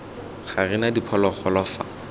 ga re na diphologolo fa